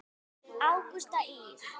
Ágústa Ýr.